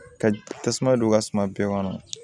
Ka tasuma don u ka suma bɛɛ kɔnɔ